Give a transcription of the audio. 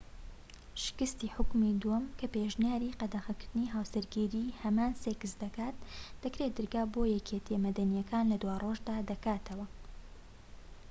شکستی حوکمی دووەم کە پێشنیاری قەدەغەکردنی هاوسەرگیری هەمان سێکس دەکات دەکرێت دەرگا بۆ یەکێتیە مەدەنیەکان لە دوارۆژدا دەکاتەوە